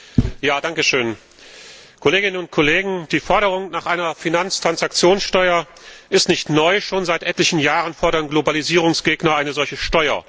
Herr Präsident! Kolleginnen und Kollegen! Die Forderung nach einer Finanztransaktionssteuer ist nicht neu, schon seit etlichen Jahren fordern Globalisierungsgegner eine solche Steuer.